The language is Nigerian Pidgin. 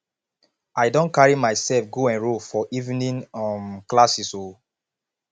i don carry myself go enrol for evening um classes o